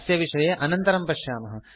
अस्य विषये अनन्तरं पश्यामः